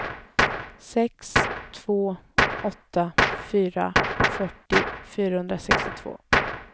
sex två åtta fyra fyrtio fyrahundrasextiotvå